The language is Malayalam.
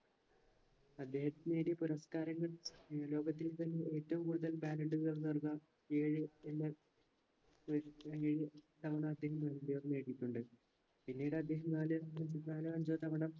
അദ്ദേഹം നേടിയ പുരസ്‌കാരങ്ങൾ ഇന്ന് ലോകത്തിൽ തന്നെ ഏറ്റവും കൂടുതൽ ഏഴ് എന്ന തവണ അദ്ദേഹം ballon dor നേടിയിട്ടുണ്ട് പിന്നീടദ്ദേഹം നാല് നാലോ അഞ്ചോ തവണ